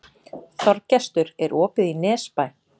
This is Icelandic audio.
Þorgestur, er opið í Nesbæ?